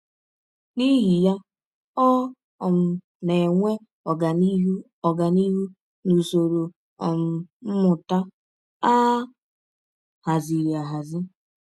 N’ihi ya, ọ um na - enwe ọganihụ ọganihụ n’usọrọ um mmụta a hazịrị ahazi.